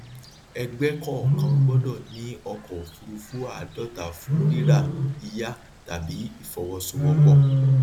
ẹgbẹ kọọkan gbọdọ ní ọkọ òfurufú àádọta fún rira yíyà tàbí ìfọwọsowọpọ